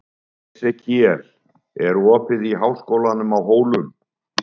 Esekíel, er opið í Háskólanum á Hólum?